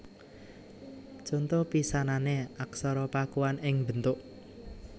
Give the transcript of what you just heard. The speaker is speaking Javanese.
Conto pisanané Aksara Pakuan ing bentuk